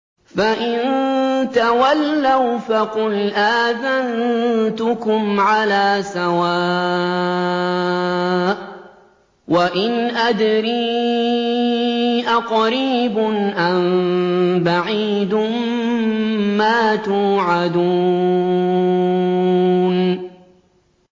فَإِن تَوَلَّوْا فَقُلْ آذَنتُكُمْ عَلَىٰ سَوَاءٍ ۖ وَإِنْ أَدْرِي أَقَرِيبٌ أَم بَعِيدٌ مَّا تُوعَدُونَ